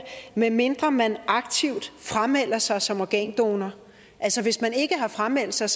medmindre man aktivt framelder sig som organdonor altså hvis man ikke har frameldt sig